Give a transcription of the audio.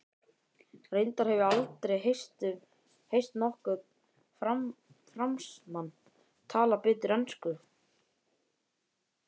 Reyndar hef ég aldrei heyrt nokkurn Fransmann tala betur ensku.